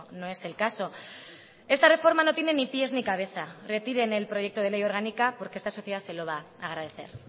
no es el caso esta reforma no tiene ni pies ni cabeza retiren el proyecto de ley orgánica porque esta sociedad se lo va a agradecer